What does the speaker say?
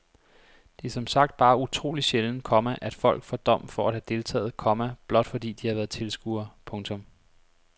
Det er som sagt bare utroligt sjældent, komma at folk får dom for at have deltaget, komma blot fordi de har været tilskuere. punktum